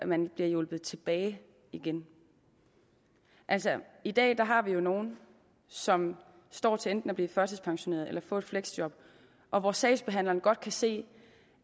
man bliver hjulpet tilbage igen i dag har vi jo nogle som står til enten at blive førtidspensioneret eller få et fleksjob og hvor sagsbehandlerne godt kan se